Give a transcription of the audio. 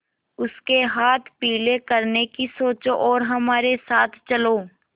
उसके हाथ पीले करने की सोचो और हमारे साथ चलो